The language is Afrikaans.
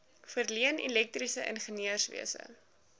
verleen elektriese ingenieurswese